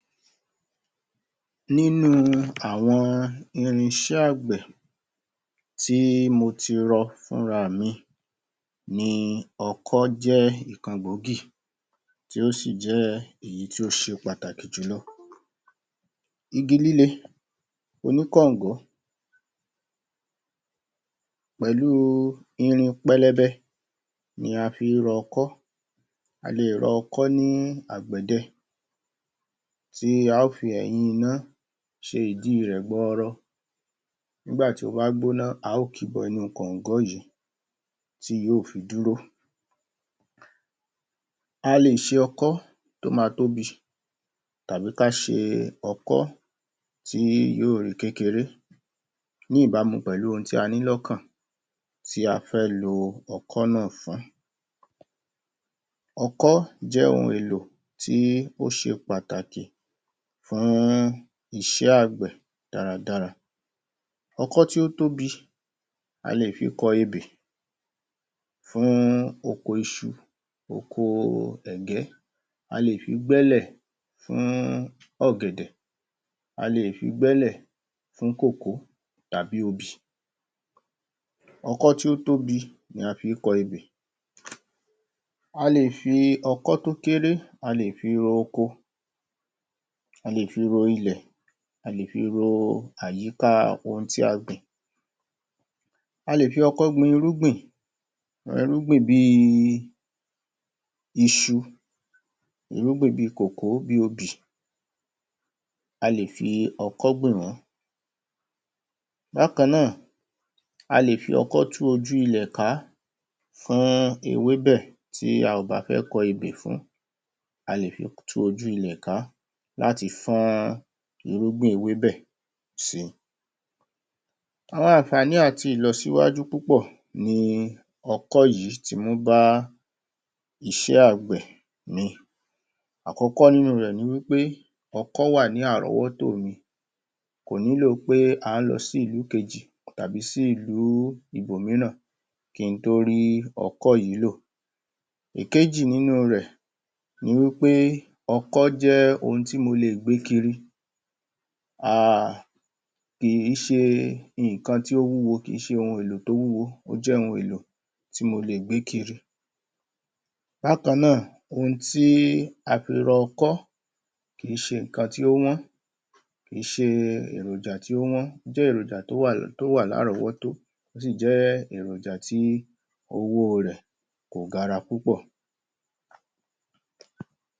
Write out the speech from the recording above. Nínú àwọn irinṣẹ́ àgbẹ̀ tí mo ti rọ fúnrami ni ọkọ́ jẹ́ ikàn gbòógì tí ó sì jẹ́ èyí tí ó ṣe èyí tó ṣe pàtàkì jùlọ Igi líle Oní kọ̀ǹgọ́ Pẹ̀lú irin pẹlẹbẹ Ni a fi rọ ọkọ́ Alè rọ ọkọ́ ní àgbẹ̀dẹ Tí a ó fi ẹ̀yìn iná ṣe ìdí rẹ̀ gbọọrọ Nígbàtí ó bá gbóná a ó kíbọ inú kọ̀ǹgọ́ yìí Tí yó ò fi dúró Alè ṣe ọkọ́ Tó ma tóbi Tàbí ká ṣe ọkọ́ Tí yóò rí kékeré Ní ìbámu pẹ̀lú ohun tí aní lọ́kàn Tí afẹ́ lo ọkọ́ náà fún ọkọ́ jẹ́ ohun èlò tí óṣe pàtàkì fún iṣẹ́ àgbẹ̀ dáradára ọkọ́ tí ó tóbi a lè fi kọ ebè fún oko iṣu oko ẹ̀gẹ́ a lè fi gbẹ́lẹ̀ fún ọ̀gẹ̀dẹ̀ a lè fi gbẹ́lẹ̀ fún kòkó tàbí obì ọkọ́ tí ó tóbi ni a fí ń kọ ebè a lè fi ọkọ́ tó kéré a lè ro oko a lè fi ro ilẹ̀ a lè fi ro àyíká ohun tí a gbìn a lè fi ọkọ́ gbin irúgbìn irúgbìn bí i iṣu irúgbìn bí kòkó bí obì a lè fi ọkọ́ gbin wọn bákaánà a lè fi ọkọ́ tú ojú ilẹ̀ kàá fún ewé bẹ̀ tí a ò bá fẹ́ kọ ebè fún a lè fi tú ojú ilẹ̀ kàá látí fọ́n irúgbìn ewé bẹ̀ si àwọn ànfààní àti ìlọsíwájú púpọ̀ ni ọkọ́ yìí ti mú bá iṣẹ́ àgbẹ̀ ni àkọ́kọ́ nínu rẹ̀ ni wípé ọkọ́ wà ní àrọ́wọ́tó mi kò nílò pé à ń lọ sí ìlú kejì tàbí sí ìlú ibòmíràn ki ń tó rí ọkọ́ yìí lò ìkejì nínu rẹ̀ ni wípé ọkọ́ jẹ́ ohun tí mo lè gbé kiri um kì í ṣe ǹkan tí ó wúwo kì í ṣe ohun èlò tó wúwo ó jẹ́ ohun èlò tí mo lè gbé kiri bákaánà ohun tí a fi rọ ọkọ́ kìí ṣe ǹkan tí ó wọ́n kìí ṣe eròjà tí ó wọ́n ó jẹ́ eròjà tí ó wà ní àrọ́wọ́tó ó sì jẹ́ eròjà tí owó rẹ̀ kò gara púpọ̀